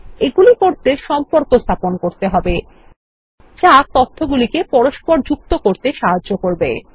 এগুলি করতে সম্পর্ক স্থাপন করতে হবে যা তথ্যগুলিকে পরস্পর যুক্ত করতে সাহায্য করবে